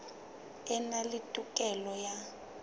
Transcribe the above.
a na le tokelo ya